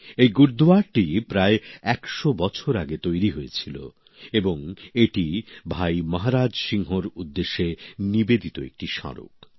এই গুরুদুয়ারাটি প্রায় ১০০ বছর আগে তৈরি হয়েছিল এবং এটি ভাই মহারাজ সিংহর উদ্দেশ্যে নিবেদিত একটি স্মারক